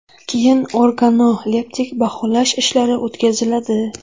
Keyin organoleptik baholash ishlari o‘tkaziladi.